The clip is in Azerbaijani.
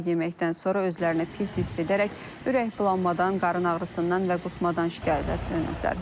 Onlar yeməkdən sonra özlərini pis hiss edərək ürəkbulanmadan, qarın ağrısından və qusmadan şikayət ediblər.